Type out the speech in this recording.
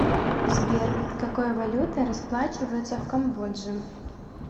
сбер какой валютой расплачиваются в камбодже